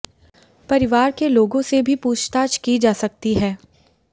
परिवार के लोगों से भी पूछताछ की जा सकती है